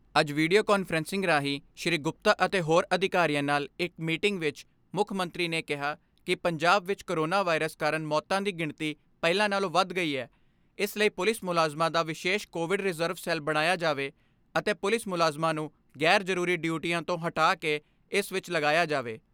ਅੱਜ video conferencing ਰਾਹੀਂ ਸ੍ਰੀ ਗੁਪਤਾ ਅਤੇ ਹੋਰ ਅਧਿਕਾਰੀਆਂ ਨਾਲ ਇਕ ਮੀਟਿੰਗ ਵਿਚ ਮੁੱਖ ਮੰਤਰੀ ਨੇ ਕਿਹਾ ਕਿ ਪੰਜਾਬ ਵਿਚ ਕੋਰੋਨਾ ਵਾਇਰਸ ਕਾਰਨ ਮੌਤਾਂ ਦੀ ਗਿਣਤੀ ਪਹਿਲਾਂ ਨਾਲੋਂ ਵੱਧ ਗਈ ਐ ਇਸ ਲਈ ਪੁਲਿਸ ਮੁਲਾਜ਼ਮਾਂ ਦਾ ਵਿਸ਼ੇਸ਼ ਕੋਵਿਡ ਰਿਜ਼ਰਵ ਸੈੱਲ ਬਣਾਇਆ ਜਾਵੇ ਅਤੇ ਪੁਲਿਸ ਮੁਲਾਜ਼ਮਾਂ ਨੂੰ ਗ਼ੈਰ ਜਰੂਰੀ ਡਿਊਟੀਆਂ ਤੋਂ ਹਟਾਕੇ ਇਸ ਵਿਚ ਲਗਾਇਆ ਜਾਵੇ।